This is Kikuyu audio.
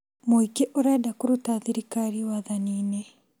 Mũingĩ ũrenda kũruta thirirkari wathani-inĩ